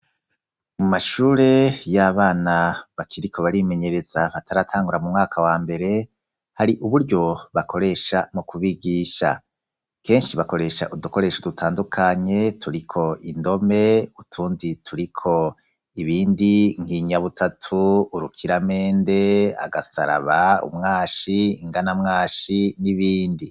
Mu mashure y'abana bakiriko barimenyereza bataratangura mu mwaka wa mbere, hari uburyo bakoresha mu kubigisha. Kenshi bakoresha udukoresho dutandukanye turiko indome, utundi turiko ibindi nk'inyabutatu, urukiramende, agasaraba umwashi, inganamwashi n'ibindi.